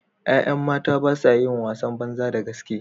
’Ya’yan mata ba sa yin wasan banza da gaske.